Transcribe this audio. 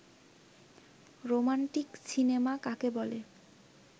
romantic cinema কাকে বলে